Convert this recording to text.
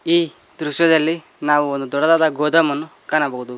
ಈ ದೃಶ್ಯದಲ್ಲಿ ನಾವು ಒಂದು ದೊಡ್ಡದಾದ ಗೋದಾಮನ್ನು ಕಾಣಬಹುದು.